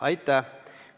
Aitäh!